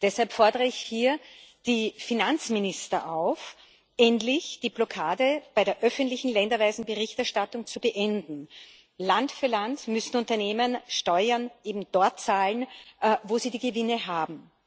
Deshalb fordere ich hier die Finanzminister auf, endlich die Blockade bei der öffentlichen länderweisen Berichterstattung zu beenden. Land für Land müssen Unternehmen Steuern eben dort zahlen, wo sie die Gewinne haben.